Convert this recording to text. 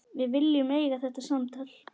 Við viljum eiga þetta samtal.